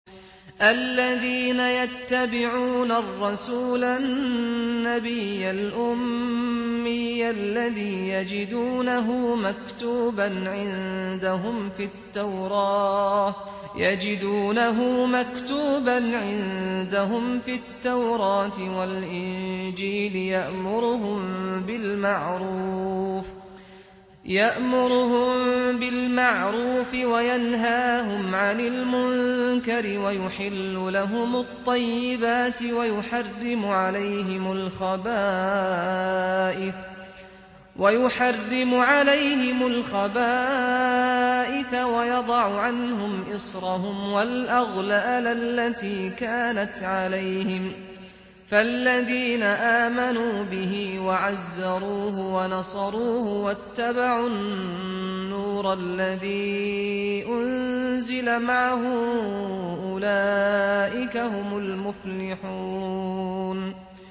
الَّذِينَ يَتَّبِعُونَ الرَّسُولَ النَّبِيَّ الْأُمِّيَّ الَّذِي يَجِدُونَهُ مَكْتُوبًا عِندَهُمْ فِي التَّوْرَاةِ وَالْإِنجِيلِ يَأْمُرُهُم بِالْمَعْرُوفِ وَيَنْهَاهُمْ عَنِ الْمُنكَرِ وَيُحِلُّ لَهُمُ الطَّيِّبَاتِ وَيُحَرِّمُ عَلَيْهِمُ الْخَبَائِثَ وَيَضَعُ عَنْهُمْ إِصْرَهُمْ وَالْأَغْلَالَ الَّتِي كَانَتْ عَلَيْهِمْ ۚ فَالَّذِينَ آمَنُوا بِهِ وَعَزَّرُوهُ وَنَصَرُوهُ وَاتَّبَعُوا النُّورَ الَّذِي أُنزِلَ مَعَهُ ۙ أُولَٰئِكَ هُمُ الْمُفْلِحُونَ